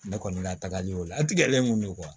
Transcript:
Ne kɔni ka tagali o la a tigɛlen kun don